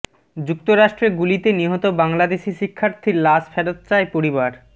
যুক্তরাষ্ট্রে গুলিতে নিহত বাংলাদেশি শিক্ষার্থীর লাশ ফেরত চায় পরিবার